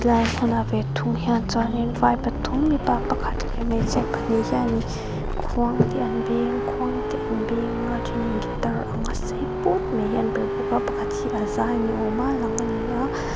lai thlalak ve thung hian chuanin vai pathum mipa pakhat leh hmeichhia pahnih hianin khuang te an beng khuang te an beng a then in guitar anga sei put mai hi an perh bawk a pakhat hi a zai ni awma lang a ni a.